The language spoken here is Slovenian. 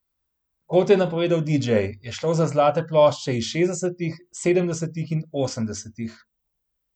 Kot je napovedal didžej, je šlo za zlate plošče iz šestdesetih, sedemdesetih in osemdesetih.